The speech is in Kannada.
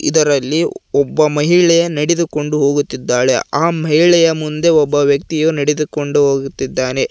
ಇದರಲ್ಲಿ ಒಬ್ಬ ಮಹಿಳೆ ನಡೆದುಕೊಂಡು ಹೋಗುತ್ತಿದ್ದಾಳೆ ಆ ಮಹಿಳೆಯ ಮುಂದೆ ಒಬ್ಬ ವ್ಯಕ್ತಿಯು ನಡೆದುಕೊಂಡು ಹೋಗುತ್ತಿದ್ದಾನೆ.